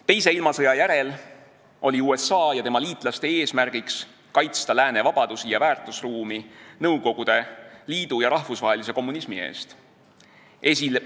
Teise maailmasõja järel oli USA ja tema liitlaste eesmärk kaitsta lääne vabadusi ja väärtusruumi Nõukogude Liidu ja rahvusvahelise kommunismi eest.